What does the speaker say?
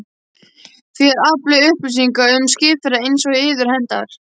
Þér aflið upplýsinga um skipaferðir einsog yður hentar.